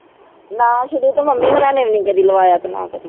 ਨਾ ਸ਼ੁਰੂ ਤੋਂ ਮੰਮੀ ਹੋਣਾਂ ਨੇ ਵੀ ਨੀ ਕਦੇ ਲਵਾਇਆ ਤੇ ਨਾ ਕਦੇ